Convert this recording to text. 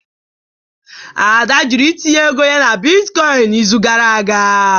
Ada jụrụ itinye ego ya na bitcoin n'izu gara aga